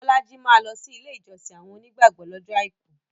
Bolaji maa lọsi ilé ìjọsìn àwọn onígbàgbọ̀ lọ́jọ́ Àìkú